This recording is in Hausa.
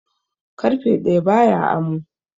Karfe daya ba ya amo